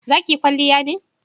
za ki yi kwalliya ne?